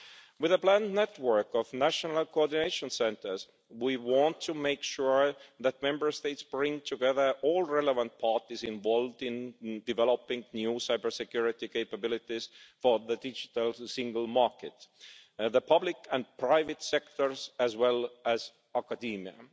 With a planned network of national coordination centres, we want to make sure that Member States bring together all relevant parties involved in developing new cybersecurity capabilities for the digital single market, the public and private sectors, as well as academia.